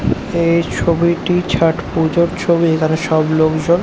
এই ছবিটি ছট পুজোর ছবি এখানে সব লোকজন--